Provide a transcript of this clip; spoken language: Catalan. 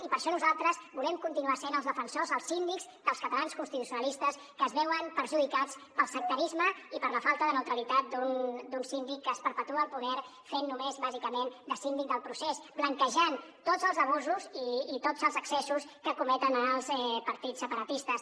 i per això nosaltres volem continuar sent els defensors els síndics dels catalans constitucionalistes que es veuen perjudicats pel sectarisme i per la falta de neutralitat d’un síndic que es perpetua al poder fent només bàsicament de síndic del procés blanquejant tots els abusos i tots els excessos que cometen els partits separatistes